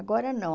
Agora não.